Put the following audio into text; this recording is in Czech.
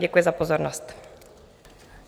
Děkuji za pozornost.